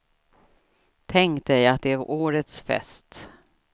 Tänk dig att det är årets fest.